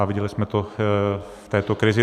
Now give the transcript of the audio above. A viděli jsme to v této krizi.